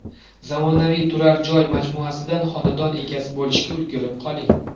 Zamonaviy turar joy majmuasidan xonadon egasi bo‘lishga ulgurib qoling.